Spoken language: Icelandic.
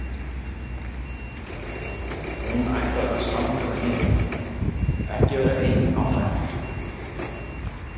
Hún ætlar að vera samferða hinum, ekki vera ein á ferð.